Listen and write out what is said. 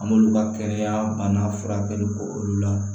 An m'olu ka kɛnɛya bana furakɛ olu la